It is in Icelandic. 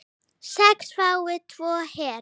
sex fái tvo hver